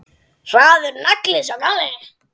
Harður nagli, sá gamli.